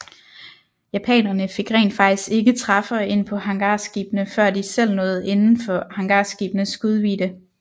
Japanerne fik rent faktisk ikke træffere ind på hangarskibene før de selv nåede inden for hangarskibenes skudvidde